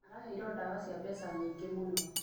Araheirwo dawa cia mbeca nyingĩ mũno.